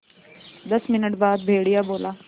दस मिनट बाद भेड़िया बोला